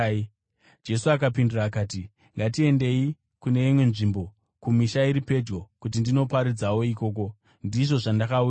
Jesu akapindura akati, “Ngatiendei kune imwe nzvimbo, kumisha iri pedyo, kuti ndinoparidzawo ikoko. Ndizvo zvandakauyira.”